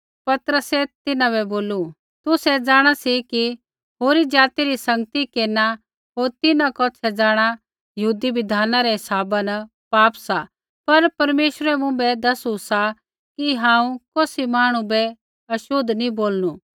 पतरसै तिन्हां बै बोलू तुसै जाँणा सी कि होरी ज़ाति री सँगति केरना होर तिन्हां कौछ़ै जाँणा यहूदी बिधाना रै हिसाबा न पाप सा पर परमेश्वरै मुँभै दैसू सा कि हांऊँ कौसी मांहणु बै छ़ोतला नी बोलणू